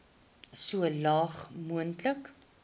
so laag moontlik